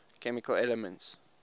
chemical elements